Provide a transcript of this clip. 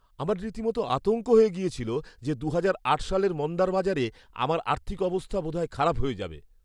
আমার রীতিমত আতঙ্ক হয়ে গিয়েছিল যে দুহাজার আট সালের মন্দার বাজারে আমার আর্থিক অবস্থা বোধহয় খারাপ হয়ে যাবে।